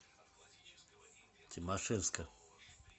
тимашевска